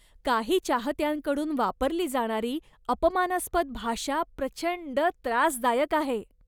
काही चाहत्यांकडून वापरली जाणारी अपमानास्पद भाषा प्रचंड त्रासदायक आहे.